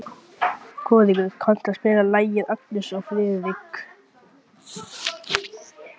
Kórekur, kanntu að spila lagið „Agnes og Friðrik“?